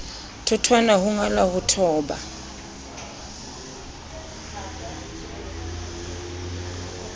thotwana ho ngala ho thoba